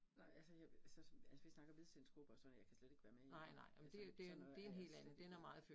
Nej altså jeg så altså vi snakker Hvidsten gruppen og sådan noget jeg kan slet ikke være med i, altså, sådan noget er slet ikke